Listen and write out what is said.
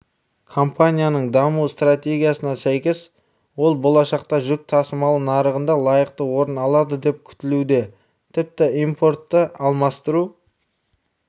компанияның даму стратегиясына сәйкес олболашақта жүк тасымалы нарығында лайықты орын алады деп күтілуде тіпті импортты алмастыру